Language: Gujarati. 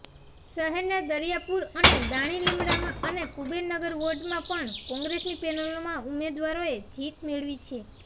શહેરના દરિયાપુર અને દાણીલીમડામાં અને કુબેરનગર વોર્ડમાં પણ કોંગ્રેસની પેનલોના ઉમેદવારોએ જીત મેળવી છે